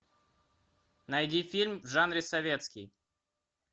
найди фильм в жанре советский